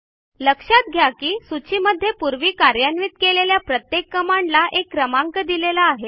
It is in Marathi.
लक्षात घ्या की सूचीमध्ये पूर्वी कार्यान्वित केलेल्या प्रत्येक कमांडला एक क्रमांक दिलेला आहे